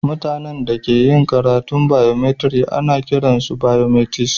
Mutane da ke karatun biokemistri ana kiran su biokemist.